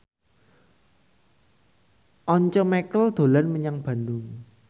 Once Mekel dolan menyang Bandung